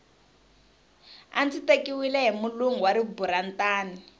a ndzi tekiwile hi mulungu wa riburantani